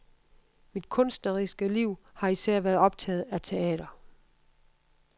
Mit kunstneriske liv har især været optaget af teater.